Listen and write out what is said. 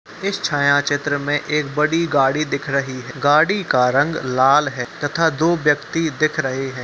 इस छायाचित्र में एक बड़ी गाड़ी दिख रही है गाड़ी का रंग लाल है तथा दो व्यक्ति दिख रहे हैं ।